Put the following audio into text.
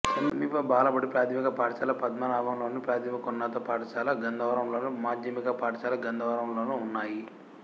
సమీప బాలబడి ప్రాథమిక పాఠశాల పద్మనాభంలోను ప్రాథమికోన్నత పాఠశాల గంధవరంలోను మాధ్యమిక పాఠశాల గంధవరంలోనూ ఉన్నాయి